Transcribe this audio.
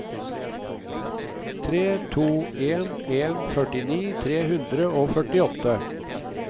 tre to en en førtini tre hundre og førtiåtte